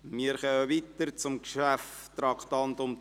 Wir fahren weiter und kommen zum Traktandum 10: